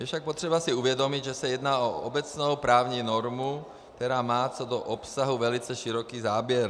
Je však třeba si uvědomit, že se jedná o obecnou právní normu, která má co do obsahu velice široký záběr.